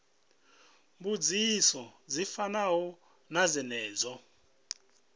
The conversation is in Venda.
mbudziso dzi fanaho na dzenedzo